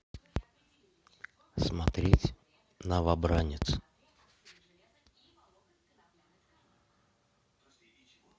смотреть новобранец